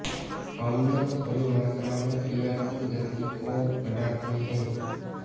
अम्ल थोड़ी मात्रा में क्रिया की गति को बढ़ाते हैं